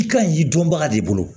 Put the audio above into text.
I ka ɲi dɔnbaga de bolo